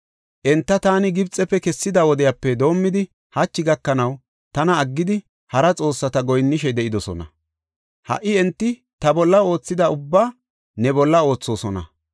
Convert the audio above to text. Enta taani Gibxefe kessida wodiyape doomidi hachi gakanaw tana aggidi, hara xoossata goyinnishe de7idosona. Ha77i enti ta bolla oothida ubbaa ne bolla oothosona.